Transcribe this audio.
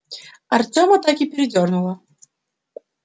артёма так и передёрнуло